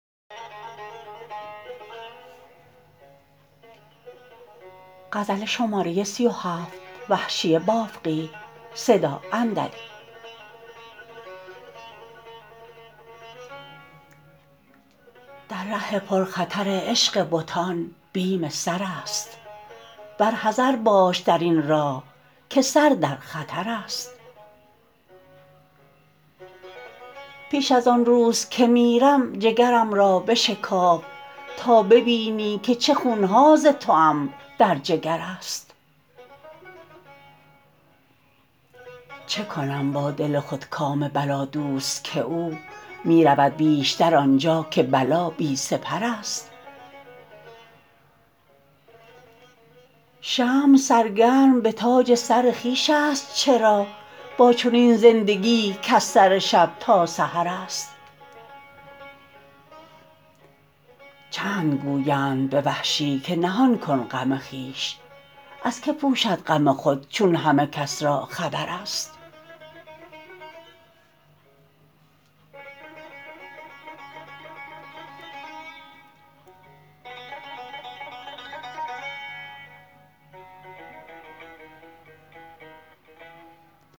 در ره پر خطر عشق بتان بیم سر است بر حذر باش در این راه که سر در خطر است پیش از آنروز که میرم جگرم را بشکاف تا ببینی که چه خونها ز توام در جگر است چه کنم با دل خودکام بلا دوست که او میرود بیشتر آنجا که بلا بی سپر است شمع سرگرم به تاج سرخویش است چرا با چنین زندگیی کز سر شب تا سحر است چند گویند به وحشی که نهان کن غم خویش از که پوشد غم خود چون همه کس را خبر است